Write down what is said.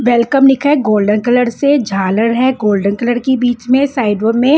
welcome लिखा है golden colour से झालर है गोल्डन कलर की बिच में साइड में--